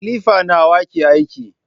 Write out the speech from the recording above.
Kilifa nawa ke aiki?